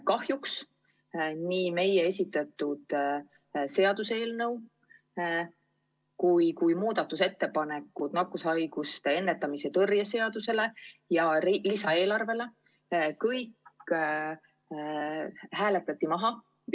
Kahjuks nii meie esitatud seaduseelnõu kui ettepanekud nakkushaiguste ennetamise ja tõrje seaduse ja riigi lisaeelarve muutmiseks hääletati maha.